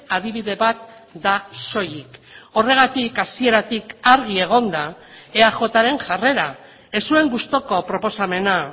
adibide bat da soilik horregatik hasieratik argi egon da eajren jarrera ez zuen gustuko proposamena